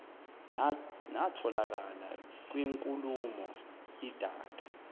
natholakala kwinkulumo idac